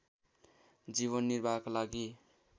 जीवन निर्वाहका लागि